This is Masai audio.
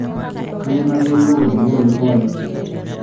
kayie nayolou olkengele liriwayie